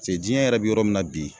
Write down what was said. Se diɲɛ yɛrɛ bi yɔrɔ min na bi